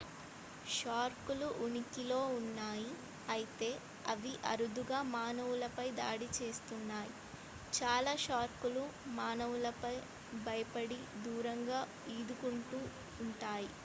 shark లు ఉనికిలో ఉన్నాయి అయితే అవి అరుదుగా మానవులపై దాడి చేస్తున్నాయి చాలా షార్క్ లు మానవులకు భయపడి దూరంగా ఈదుకుంటూ ఉంటాయి